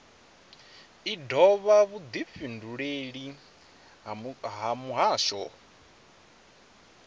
i dovha vhudifhinduleleli ha muhasho